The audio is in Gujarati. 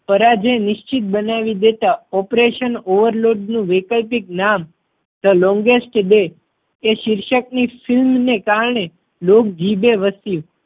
પરાજય નિશ્ચિત બનાવી દેતા operation overload નું વૈકલપિક નામ the longest bay એ શીર્ષક ની ફિલ્મે ને કારણે લોક જીભે વસ્યું.